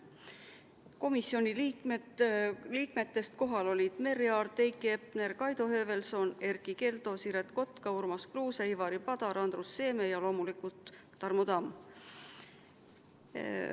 Komisjoni liikmetest olid kohal Merry Aart, Heiki Hepner, Kaido Höövelson, Erkki Keldo, Siret Kotka, Urmas Kruuse, Ivari Padar, Andrus Seeme ja loomulikult Tarmo Tamm.